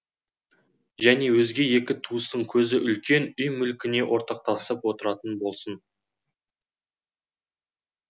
және өзге екі туыстың көзі үлкен үй мүлкіне ортақтасып отыратын болсын